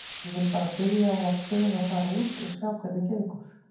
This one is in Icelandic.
Ég vil bara byrja á að prófa að fara út og sjá hvernig gengur.